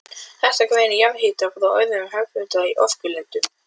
Þetta greinir jarðhita frá öðrum og hefðbundnari orkulindum.